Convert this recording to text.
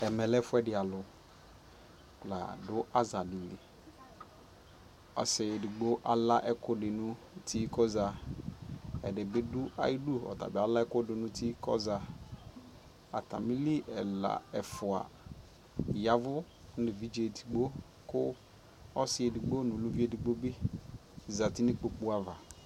ɛmɛ lɛ ɛƒʋɛdi alʋ ladʋ aza dili, ɔsii ɛdigbɔ ala ɛkʋtɛ di nʋ ʋti kɔza, ɛdibi dʋ ayidʋ kʋ alɛ ɛkʋ dʋnʋ ʋti kʋ ɔza, atami li ɛla ɛƒʋa yavʋ nʋ ɛvidzɛ ɛdigbɔ kʋ ɔsii ɛdigbɔ nʋ ʋlʋvi ɛdigbɔ bi zati nʋ ikpɔkʋ aɣa